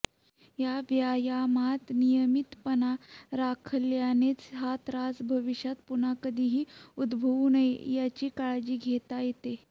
या व्यायामात नियमितपणा राखल्यानेच हा त्रास भविष्यात पुन्हा कधीही उद्भवू नये याची काळजी घेता येते